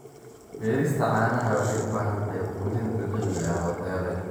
Beerista caanaha waxay u baahan tahay quudin dabiici ah oo tayo leh.